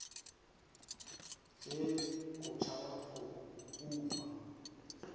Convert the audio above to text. tšee o tšhaba go kunywa